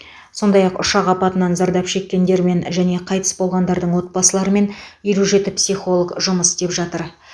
сондай ақ ұшақ апатынан зардап шеккендермен және қайтыс болғандардың отбасыларымен елу жеті психолог жұмыс істеп жатыр